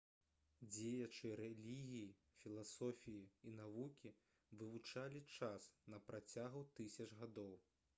дзеячы рэлігіі філасофіі і навукі вывучалі час на працягу тысяч гадоў